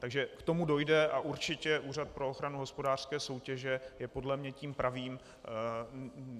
Takže k tomu dojde a určitě Úřad pro ochranu hospodářské soutěže je podle mě tím pravým.